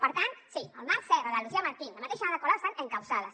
per tant sí el marc serra la lucía martín i la mateixa ada colau estan encausades